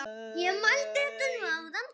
Ég mældi þetta nú áðan.